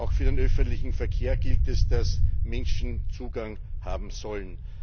Auch für den öffentlichen Verkehr gilt, dass Menschen Zugang dazu haben sollen.